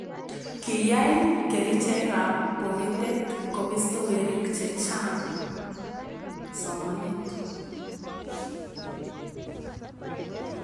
kiyae kerichekab pokitet kobisto werik che chang somanet